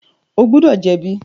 O gbọdọ jẹbi!